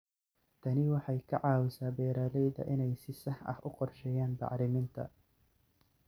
Tani waxay ka caawisaa beeralayda inay si sax ah u qorsheeyaan bacriminta.